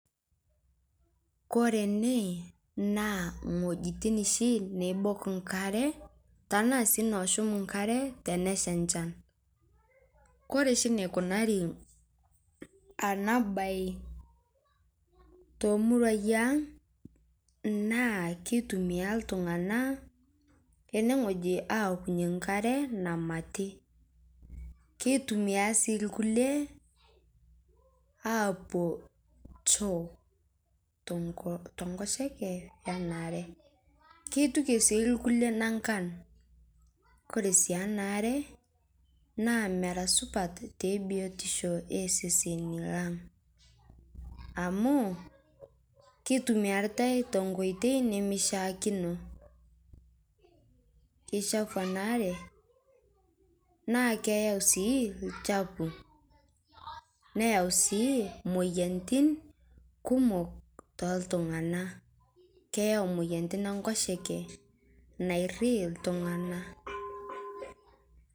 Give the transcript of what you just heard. Kore ene naa ng'ojitin neibook nkaare tana sii nooshuum nkaare teneshaa nchaan. Kore sii neikunaari ana bayi to muruai ang' naa keitumia ltung'ana ene ng'oji aokunye nkaare namatii. Keitumia sii lkulee apoo choo te nkosheke ana aare. Keituuke sii lkulee nankaan, kore sii ana aare naa meraa supaat te biotisho e seseni lang', amu keitumiarita te nkotei nee shaakino. Keishafuu ana aare naa keiyau sii lchafuu. Neyauu sii moyianitin kumook to ltung'ana. Keyauu moyianitin e nkosheke naarii ltung'ana.